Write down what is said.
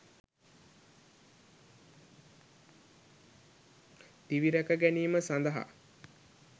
දිවිරැක ගැනීම සඳහා